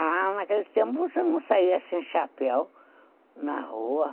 Ah, naquele tempo você não saia sem chapéu na rua.